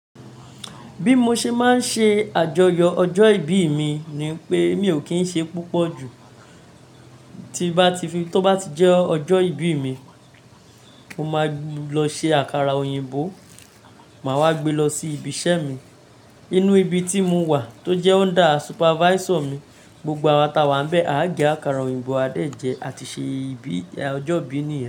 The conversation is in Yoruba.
Bí mo ṣe máa ń ṣe àjọyọ̀ ọjọ́ ìbí mi ni pé mi ò kí ń ṣe púpọ̀ ju. Tó bá ti jẹ́ ọjọ́ ìbí mi mo ma lọ ṣe àkàrà òyìnbó, ma wá gbé lọ sí ibi iṣẹ́ mi ní ibi tí mo wà, tó jẹ́ onda supafaiso mi, gbogbo àwa tí a wà níbẹ̀ a ó gé àkàrà òyìnbó, a ó dẹ̀ jẹ a ti ṣe ọjọ́ ìbí nìyẹn.